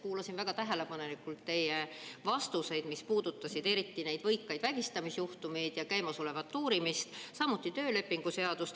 Kuulasin väga tähelepanelikult teie vastuseid, mis puudutasid eriti neid võikaid vägistamisjuhtumeid ja käimasolevat uurimist, samuti töölepingu seadust.